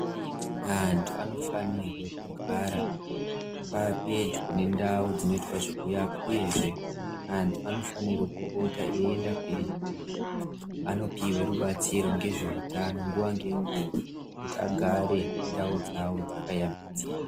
Antu anofanirwe kugara apedyo nendau dzinoita zvekuyapa uyezve antu anofanire kupota eienda pedyo anopiwe rubatsiro ngezveutano nguwa ngenguwa kuti agare ndau dzawo dzakayambi.